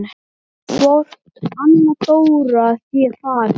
Svona sætur og fínn!